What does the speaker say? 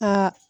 Aa